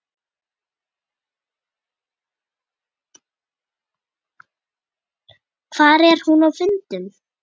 Hvar er hún á fundum?